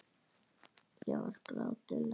Ég var gráti nær.